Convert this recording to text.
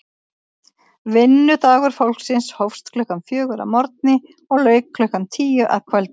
Vinnudagur fólksins hófst klukkan fjögur að morgni og lauk klukkan tíu að kvöldi.